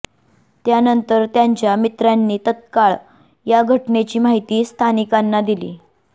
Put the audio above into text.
त्यानंतर त्याच्या मित्रांनी तत्काळ या घटनेची माहिती स्थानिकांना दिली